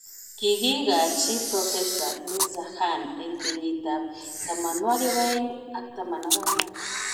Kigiikachi Profesa Mirzakhan eng kenyit ab 2014